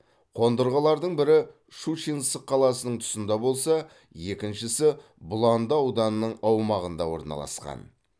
қондырғылардың бірі щучинск қаласының тұсында болса екіншісі бұланды ауданының аумағында орналасқан